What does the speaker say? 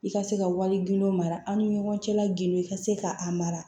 I ka se ka wari gindo mara an ni ɲɔgɔn cɛla gilo ka se ka a mara